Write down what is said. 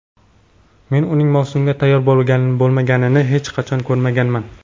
Men uning mavsumga tayyor bo‘lmaganini hech qachon ko‘rmaganman.